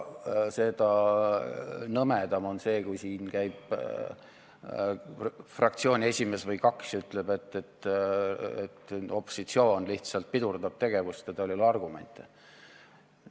Seda nõmedam on see, kui siin käivad üks või kaks fraktsiooni esimeest ja ütlevad, et opositsioon lihtsalt pidurdab tegevust ja tal ei ole argumente.